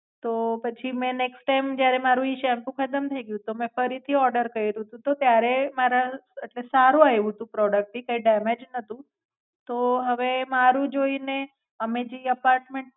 તો પછી મેં નેક્સ્ટ ટાઇમ જયારે મારુ ઈ સેમ્પુ ખતમ થઈ ગ્યું તો મેં ફરી થી ઓર્ડર કઈરું તું તો ત્યારે મારા અમ એટલે સારુ આઈવું તું પ્રોડક ઈ કઈ ડેમેજ નતું. તો, હવે મારુ જોઈને અમે જે એપાર્મેેંટ